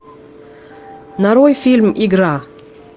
нарой фильм игра